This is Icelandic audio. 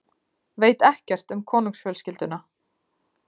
Veit ekkert um konungsfjölskylduna